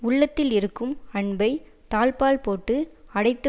உள்ளத்தில் இருக்கும் அன்பை தாழ்ப்பாள் போட்டு அடைத்து